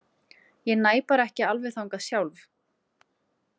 Ég næ bara ekki alveg þangað sjálf.